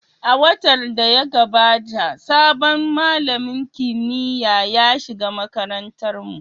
A watan da ya gabata, sabon malamin kimiyya ya shiga makarantarmu.